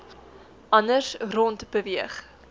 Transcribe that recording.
anders rond beweeg